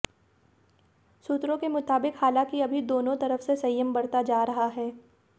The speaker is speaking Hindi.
सूत्रों के मुताबिक हालांकि अभी दोनों तरफ से संयम बरता जा रहा है